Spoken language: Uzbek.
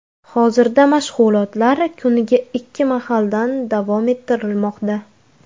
Hozirda mashg‘ulotlar kuniga ikki mahaldan davom ettirilmoqda.